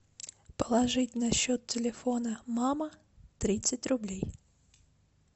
положить на счет телефона мама тридцать рублей